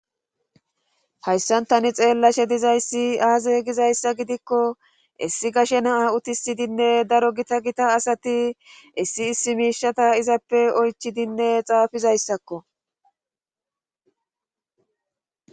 Hayssan tani xeelashe dizayssi aazee gizayssa gidiko issi gashe na'a uttisidi daro gita gita asati issi issi miishata izape oychidi xaafizayssakko